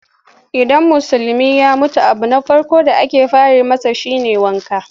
Idan Musulmi ya mutu abu na farko da ake fara yi masa shi ne wanka.